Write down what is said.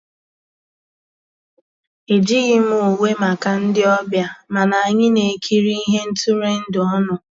Ejíghị m ùwé màkà ndị́ ọ̀bịá, mànà ànyị́ ná-èkírí íhé ntụ́rụ́èndụ́ ọnụ́.